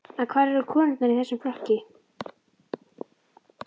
En hvar eru konurnar í þessum flokki?